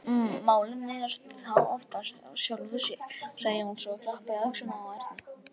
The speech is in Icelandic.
Málin leysast þá oftast af sjálfu sér, sagði Jónsi og klappaði á öxlina á Erni.